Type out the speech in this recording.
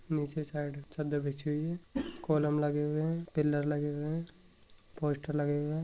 नीचे साईड चद्दर बिछी हुयी हैं कोलम लगे हुए हैं पिलर लगे हुए हैं पोस्टर लगे हुए हैं।